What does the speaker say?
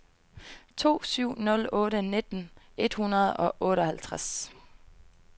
to syv nul otte nitten et hundrede og otteoghalvtreds